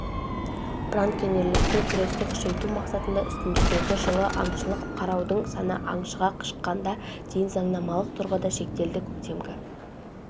браконьерлікпен күресті күшейту мақсатында үстіміздегі жылы аңшылық қарудың саны аңшыға шаққанда дейін заңнамалық тұрғыда шектелді көктемгі